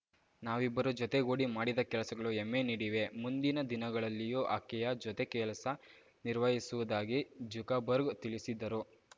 ನಾವಿಬ್ಬರು ಜೊತೆಗೂಡಿ ಮಾಡಿದ ಕೆಲಸಗಳು ಹೆಮ್ಮೆ ನೀಡಿವೆ ಮುಂದಿನ ದಿನಗಳಲ್ಲಿಯೂ ಆಕೆಯ ಜೊತೆ ಕೆಲಸ ನಿರ್ವಹಿಸುವುದಾಗಿ ಜುಗ ಬರ್ಗ್‌ ತಿಳಿಸಿದ್ದರು